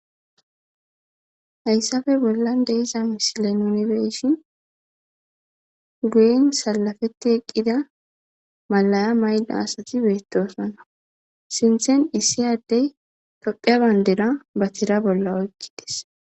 Hayisape bolan diza misile nu beishin guyen salapeti eqida malsya maida asathi betosona. Sinthan issi ade Thophphiya bandira ba thira bola oyikides.